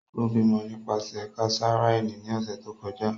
O bimọ nipasẹ kesareani ni ọsẹ to kọja.